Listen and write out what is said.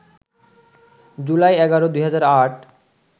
July ১১, ২০০৮